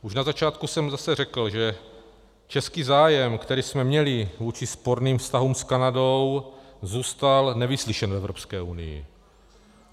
Už na začátku jsem zase řekl, že český zájem, který jsme měli vůči sporným vztahům s Kanadou, zůstal nevyslyšen v Evropské unii.